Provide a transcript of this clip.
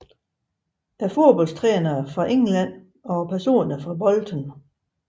Fodboldtrænere fra England Personer fra Bolton